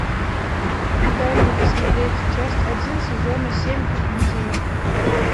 дай мне посмотреть часть один сезона семь гудини